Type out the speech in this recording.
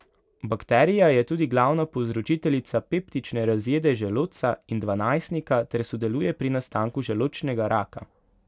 Bakterija je tudi glavna povzročiteljica peptične razjede želodca in dvanajstnika ter sodeluje pri nastanku želodčnega raka.